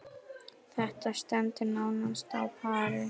Þetta stendur nánast á pari.